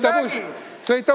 Noh, nägid!